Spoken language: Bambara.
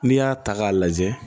N'i y'a ta k'a lajɛ